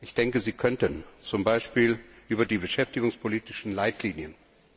Ich denke, Sie könnten, zum Beispiel über die beschäftigungspolitischen Leitlinien.